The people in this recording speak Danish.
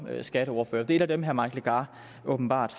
skatteordfører det er et af dem herre mike legarth åbenbart